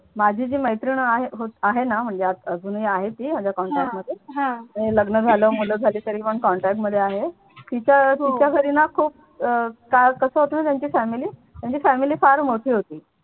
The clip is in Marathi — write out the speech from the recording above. माझी जी मैत्रीण आहे आहे ना म्हणजे अजून अजून ही आहे ती माझ्या contact मध्ये लग्न झालं मुलं झाली तरी पण contact मध्ये आहे तिचं न तिच्या घरी खूप का कस होत न त्यांची family त्यान्ची family फार मोठी होती.